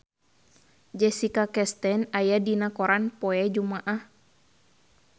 Jessica Chastain aya dina koran poe Jumaah